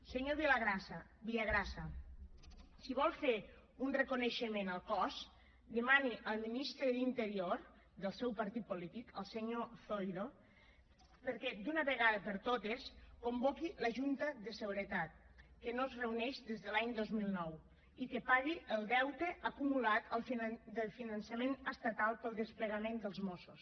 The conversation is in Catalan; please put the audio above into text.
senyor villagrasa si vol fer un reconeixement al cos demani al ministre de l’interior del seu partit polític el senyor zoido que d’una vegada per totes convoqui la junta de seguretat que no es reuneix des de l’any dos mil nou i que pagui el deute acumulat del finançament estatal per al desplegament dels mossos